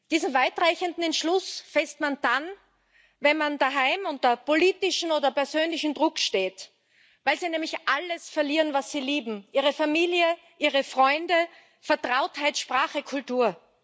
Diesen weitreichenden Entschluss fasst man dann, wenn man daheim unter politischem oder persönlichem Druck steht, weil Sie nämlich alles verlieren, was Sie lieben Ihre Familie, Ihre Freunde, Vertrautheit, Sprache, Kultur.